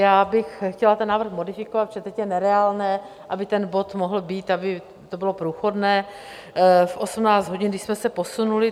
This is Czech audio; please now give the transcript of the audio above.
Já bych chtěla ten návrh modifikovat, protože teď je nereálné, aby ten bod mohl být, aby to bylo průchodné, v 18 hodin, když jsme se posunuli.